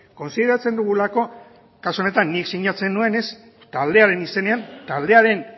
kontsideratzen dugulako kasu honetan nik sinatzen nuenez taldearen izenean taldearen